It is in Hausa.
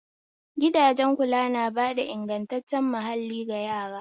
Gidajen kula na bada ingantaccen mahalli ga yara